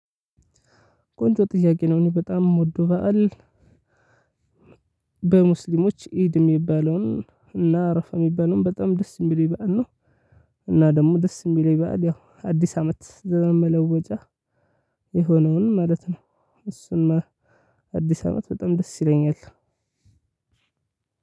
ቆንጆ ጥያቄ ነው እኔ በጣም የምወደው በዓል በሙስሊሞች ኢድ የሚባለውን እና አረፋ የሚባለውን በጣም ደስ የሚለኝ በዓል ነው። እና ደግሞ ደስ የሚለኝ በዓል ያው አዲስ አመት ዘመን መለወጫ። የሆነውን ማለት ነው። እሱን አዲስ አመት በጣም ደስ ይለኛል።